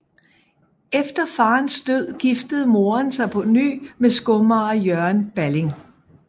Efter faderens død giftede moderen sig på ny med skomager Jørgen Balling